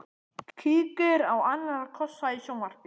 Kíkir á annarra kossa í sjónvarpi.